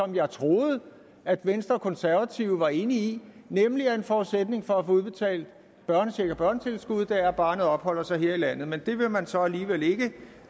jeg troede at venstre og konservative var enige i nemlig at en forudsætning for at få udbetalt børnecheck og børnetilskud er at barnet opholder sig her i landet men det vil man så alligevel ikke